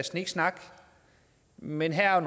sniksnak men her er